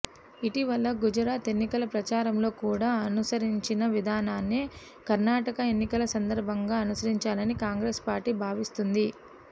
ఇటీవల గుజరాత్ ఎన్నికల ప్రచారంలో కూడా అనుసరించిన విధానాన్నే కర్ణాటక ఎన్నికల సందర్భంగా అనుసరించాలని కాంగ్రెస్ పార్టీ భావిస్తోంది